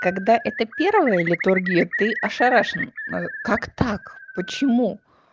когда это первое литургия ты ошарашена как так почему